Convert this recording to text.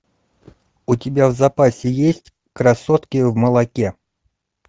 у тебя в запасе есть красотки в молоке